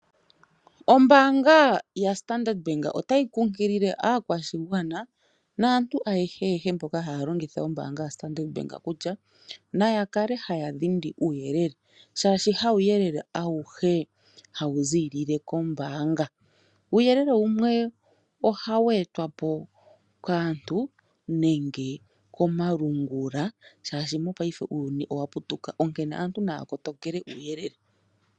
Ombaanga yaStandard Bank otayi kunkile aakwashigwana naantu ayahe yehe mboka haya longitha ombaanga yaStandard Bank kutya naya kale haya dhindi uuyelele, shaashi hawu yelele awuhe hawu ziilile kombaanga. Uuyelele wumwe ohawu etwapo kaantu nenge komalungula shaashi mopaife uuyuni owaputuka, onkene aantu naya kotokele uuyelele.